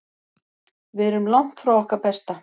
Við erum langt frá okkar besta.